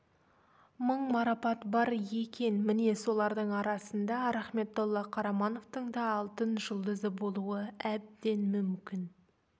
мың марапат бар екен міне солардың арасында рахметолла қарамановтың да алтын жұлдызы болуы әбден мүмкін